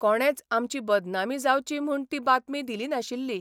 कोणेच आमची बदनामी जावची म्हूण ती बातमी दिली नाशिल्ली.